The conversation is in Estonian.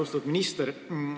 Austatud minister!